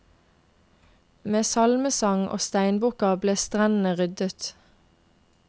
Med salmesang og steinbukker ble strendene ryddet.